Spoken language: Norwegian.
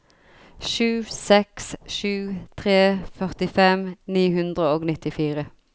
sju seks sju tre førtifem ni hundre og nittifire